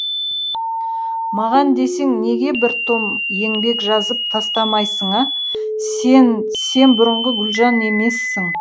маған десең неге бір том еңбек жазып тастамайсың а сен сен бұрынғы гүлжан емессің